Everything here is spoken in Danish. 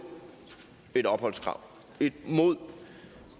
et opholdskrav og